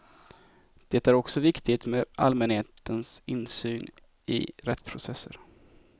Det är också viktigt med allmänhetens insyn i rättsprocesser.